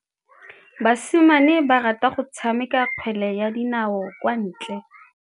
Basimane ba rata go tshameka kgwele ya dinaô kwa ntle.